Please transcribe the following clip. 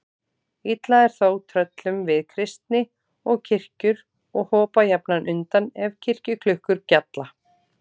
Illa er þó tröllum við kristni og kirkjur og hopa jafnan undan ef kirkjuklukkur gjalla.